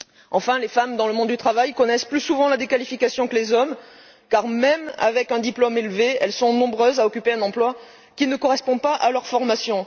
Enfin, les femmes dans le monde du travail connaissent plus souvent la déqualification que les hommes car, même avec un diplôme élevé, elles sont nombreuses à occuper un emploi qui ne correspond pas à leur formation.